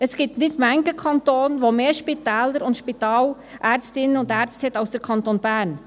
Es gibt nicht viele Kantone, die mehr Spitäler und mehr Spitalärztinnen und -ärzte haben als der Kanton Bern.